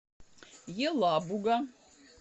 елабуга